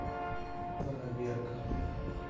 проверка